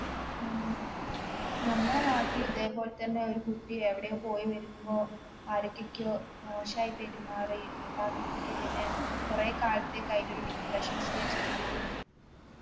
ഉം നമ്മളെ നാട്ടിൽ ഇതേപോലെ തന്നെ ഒരു കുട്ടി എവിടെയോ പോയി വരുമ്പോ ആരൊക്കൊക്കോ മോശായി പെരുമാറി എന്നിട്ട് ആ കുട്ടിക്ക് പിന്നെ കൊറേ കാലത്തേക് അതിന്റൊരു depression stage ലൊക്കെയായിരുന്നു